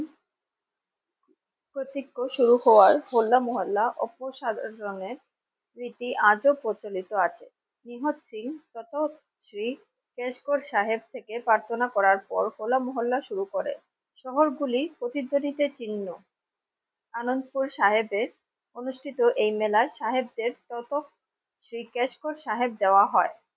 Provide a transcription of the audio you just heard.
Cash কর সাহেব থেকে হলা মহল্যা শহর গুলি প্রতিতনিতে চিহ্ন আনন্দপুর সাহেবের অনুষ্ঠিত এই মেলা সাহেবদের শ্রী ক্যাশ কর সাহেব দেওয়া হয়।